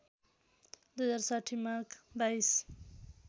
२०६० माघ २२